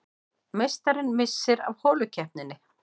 Meistarinn missir af holukeppninni